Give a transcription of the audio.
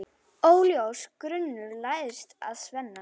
Óljós grunur læðist að Svenna.